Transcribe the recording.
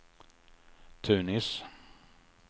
Tunis